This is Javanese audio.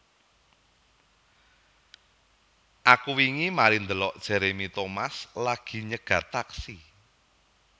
Aku wingi mari ndelok Jeremy Thomas lagi nyegat taksi